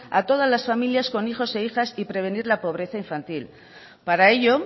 a todas las familias con hijos e hijas y prevenir la pobreza infantil para ello